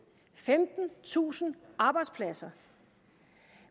femtentusind arbejdspladser